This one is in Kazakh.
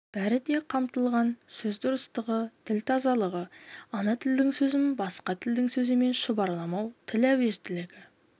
бәрі де қамтылған сөз дұрыстығы тіл тазалығы ана тілдің сөзін басқа тілдің сөзімен шұбарламау тіл әуезділігі